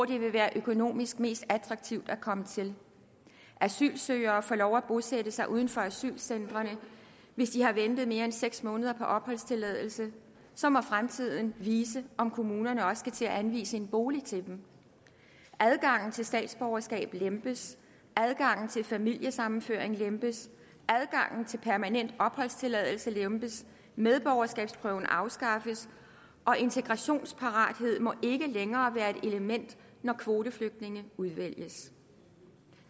det vil være økonomisk mest attraktivt at komme til asylsøgere får lov at bosætte sig uden for asylcentrene hvis de har ventet mere end seks måneder på opholdstilladelse så må fremtiden vise om kommunerne også skal til at anvise en bolig til dem adgangen til statsborgerskab lempes adgangen til familiesammenføring lempes adgangen til permanent opholdstilladelse lempes medborgerskabsprøven afskaffes og integrationsparathed må ikke længere være et element når kvoteflygtninge udvælges